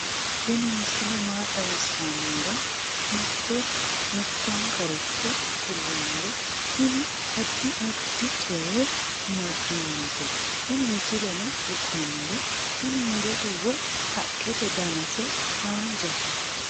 tini misile maa xawissannoro mito mittonkaricho kulummoro tini addi addicoy amaddinote tini misileno kultannori tini murote woy haqqete danase haanjate